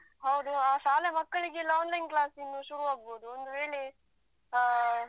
ಹೌದು ಆ ಶಾಲೆ ಮಕ್ಕಳಿಗೆಲ್ಲ online class ಇನ್ನು ಶುರು ಆಗ್ಬೋದು. ಒಂದು ವೇಳೆ ಅಹ್